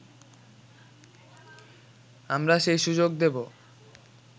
আমরা সেই সুযোগ দেব